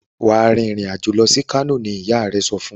Wá rìn ìrìn àjò lọ sì kano! ní ìyá rẹ sọfún.